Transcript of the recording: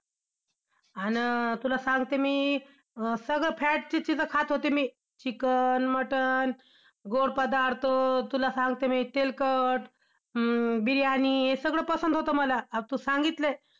आन~ तुला सांगते मी~ सगळं fat चीच चीज~ खात होते मी. चिकन, मटण, गोड पदार्थ तुला सांगते मी तेलकट, अं बिर्याणी हे सगळं पसंद होत मला आता तू सांगितलंय.